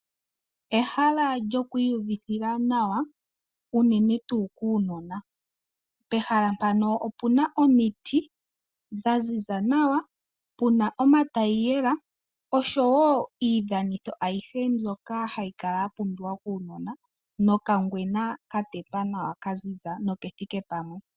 Ehala lyoku iyuvitha nawa unene tuu kuunona. Pehala mpano opuna omiti dha ziza nawa puna omatayiyela oshowo iidhanitho ayihe mbyoka hayi kala ya pumbiwa kuunona no kangwena ka tetwa nawa kazizia nokethike pamwe.